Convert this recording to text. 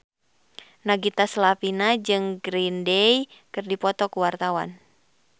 Nagita Slavina jeung Green Day keur dipoto ku wartawan